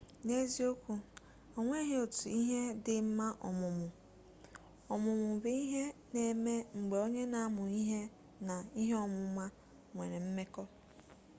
n'eziokwu onweghi otu ihe dị mma ọmụmụ ọmụmụ bụ ihe na-eme mgbe onye na-amụ ihe na ihe ọmụma nwere mmekọ